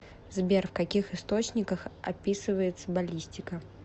сбер в каких источниках описывается баллистика